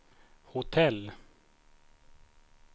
hotell